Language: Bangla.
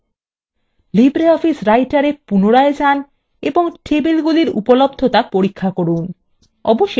3 libreoffice writerএ পুনরায় যান এবং টেবিলগুলির উপলব্ধতা পরীক্ষা করুন